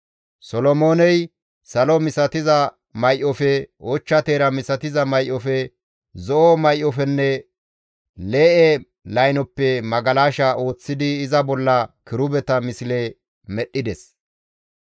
Solomooney salo misatiza may7ofe, ochcha teera misatiza may7ofe, zo7o may7ofenne lee7e laynoppe magalasha ooththidi iza bolla kirubeta misle medhdhides.